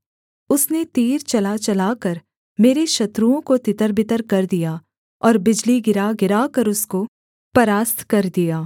उसने तीर चलाचलाकर मेरे शत्रुओं को तितरबितर कर दिया और बिजली गिरा गिराकर उसको परास्त कर दिया